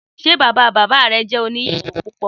Sé bàbá bàbá re jẹ́ oní ìyàwó púpọ̀?